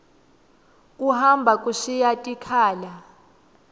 kuhamba kushiya tikhala